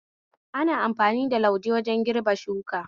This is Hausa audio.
Ana amfani da lauje wajen girbin shuka